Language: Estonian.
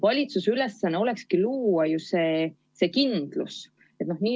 Valitsuse ülesanne olekski luua see kindlus.